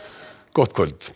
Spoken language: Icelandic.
gott kvöld